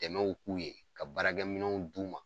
Dɛmɛw k'u ye, ka baarakɛminw d'u ma